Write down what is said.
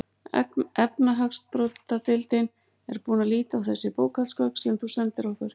Efnahagsbrotadeildin er búin að líta á þessi bókhaldsgögn sem þú sendir okkur.